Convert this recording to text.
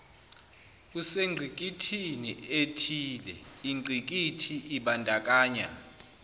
usengqikithnii ethileingqikithi ibandakanya